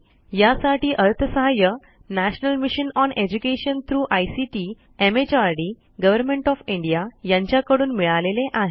यासाठी अर्थसहाय्य national mission on education through ICT MHRD government of India यांच्याकडून मिळालेले आहे